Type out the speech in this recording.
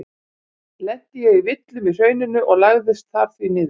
Lenti ég í villum í hrauninu og lagðist þar því niður.